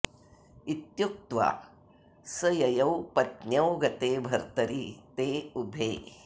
इत्युक्त्वा स ययौ पत्न्यौ गते भर्तरि ते उभे